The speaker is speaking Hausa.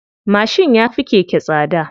Mashin ya fi keke tsada.